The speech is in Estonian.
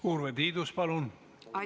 Urve Tiidus, palun!